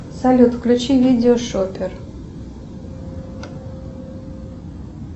салют включи видео шопер